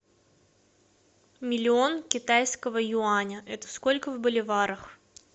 миллион китайского юаня это сколько в боливарах